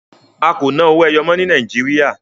A kò ná owó ẹyọ mọ́ ní Nàìjíríà.